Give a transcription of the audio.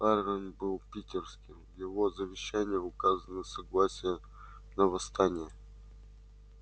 парень был питерским в его завещании указано согласие на восстание